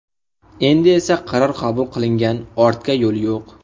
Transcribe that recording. Endi esa qaror qabul qilingan, ortga yo‘l yo‘q.